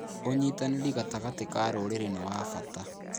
ũnyitanĩri gatagatĩ ka rũrĩrĩ nĩ wa bata.